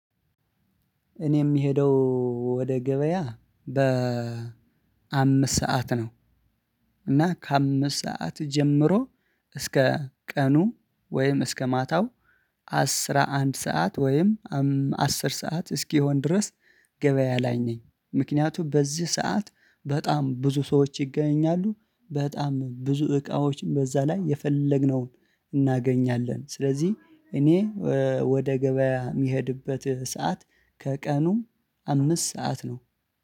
እኔ የምሄደው ወደ ገበያ በ አምስት ሰዓት ነው። እና ከአምስት ሰዓት ጀምሮ እስከ ቀኑ ወይም እስከ ማታው አስራ አንድ ሰዓት ወይም አስር ሰዓት እስኪሆን ድረስ ገበያ ላይ ነኝ። ምክንያቱም በዚህ ሰዓት በጣም ብዙ ሰዎች ይገኛሉ በጣም ብዙ እቃዎችን በዛ ላይ የፈለግነውን እናገኛለን። ስለዚህ እኔ ወደ ገበያ የምሄድበት ሰዓት ከቀኑ አምስት ሰዓት ነው